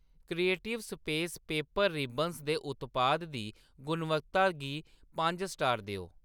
Creative space paper ribbons दे उत्पाद दी गुणवत्ता गी पंज स्टार देओ।